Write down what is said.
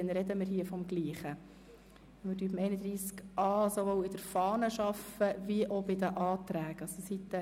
Dann sprechen wir vom Gleichen, weil wir bei Artikel 31a sowohl mit der Fahne als auch mit den Anträgen arbeiten.